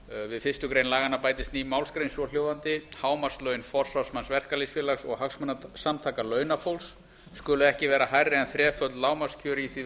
við fyrstu grein laganna bætist ný málsgrein svohljóðandi hámarkslaun forsvarsmanns verkalýðsfélags og hagsmunasamtaka launafólks skulu ekki vera hærri en þreföld lágmarkskjör í því